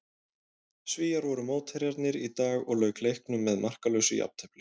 Svíar voru mótherjarnir í dag og lauk leiknum með markalausu jafntefli.